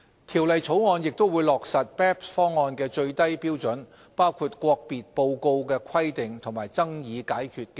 《條例草案》亦會落實 BEPS 方案的最低標準，包括國別報告規定及爭議解決機制。